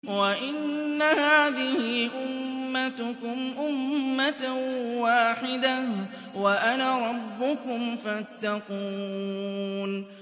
وَإِنَّ هَٰذِهِ أُمَّتُكُمْ أُمَّةً وَاحِدَةً وَأَنَا رَبُّكُمْ فَاتَّقُونِ